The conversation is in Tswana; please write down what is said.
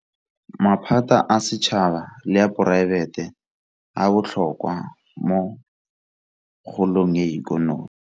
Maphata a setšhaba le a poraefete a botlhokwa mo kgolong ya ikonomi.